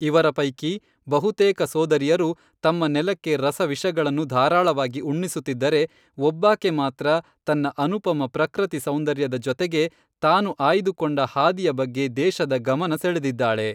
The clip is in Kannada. ಇವರ ಪೈಕಿ ಬಹುತೇಕ ಸೋದರಿಯರು ತಮ್ಮ ನೆಲಕ್ಕೆ ರಸವಿಷಗಳನ್ನು ಧಾರಾಳವಾಗಿ ಉಣ್ಣಿಸುತ್ತಿದ್ದರೆ, ಒಬ್ಬಾಕೆ ಮಾತ್ರ ತನ್ನ ಅನುಪಮ ಪ್ರಕೃತಿ ಸೌಂದರ್ಯದ ಜತೆಗೆ ತಾನು ಆಯ್ದುಕೊಂಡ ಹಾದಿಯ ಬಗ್ಗೆ ದೇಶದ ಗಮನ ಸೆಳೆದಿದ್ದಾಳೆ.